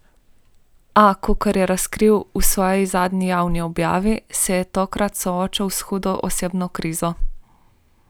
A, kot je razkril v svoji zadnji javni objavi, se je takrat soočal s hudo osebno krizo.